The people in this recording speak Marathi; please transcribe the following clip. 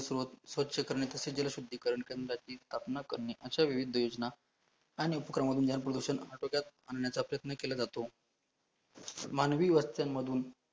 स्वछ करणे तसाच जल शुद्धीकरण करण्यासाठी स्थापना करणे अश्यावेळी दुयोज्ना आणि डोक्यात आणण्याचा प्रयत्न केला जातो, मानवी वस्त्यांमधून